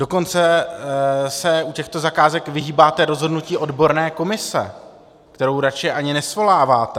Dokonce se u těchto zakázek vyhýbáte rozhodnutí odborné komise, kterou radši ani nesvoláváte.